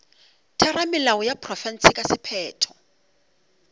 theramelao ya profense ka sephetho